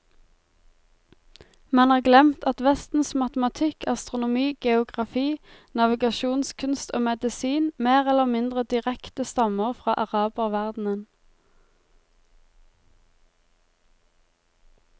Man har glemt at vestens matematikk, astronomi, geografi, navigasjonskunst og medisin mer eller mindre direkte stammer fra araberverdenen.